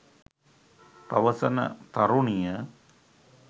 පවසන තරුණිය